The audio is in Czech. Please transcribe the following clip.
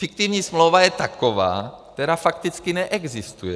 Fiktivní smlouva je taková, která fakticky neexistuje.